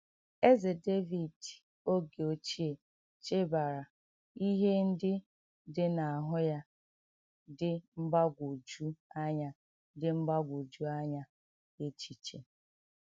Ézè Dèvíd ògé ochie chèbàrà íhè ǹdí dị̀ n’áhụ́ ya dị̀ mgbágwòjù ànyà dị̀ mgbágwòjù ànyà èchìchè.